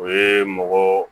O ye mɔgɔ